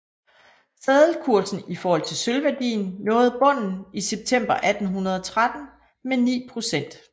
Seddelkursen i forhold til sølvværdien nåede bunden i september 1813 med 9 procent